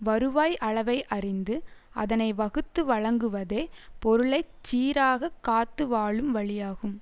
வருவாய் அளவை அறிந்து அதனை வகுத்து வழங்குவதே பொருளை சீராகக் காத்து வாழும் வழியாகும்